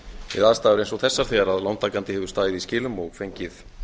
við aðstæður eins og þessar þegar lántakandi hefur staðið í skilum og fengið